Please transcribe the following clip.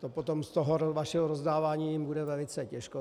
To potom z toho vašeho rozdávání jim bude velice těžko.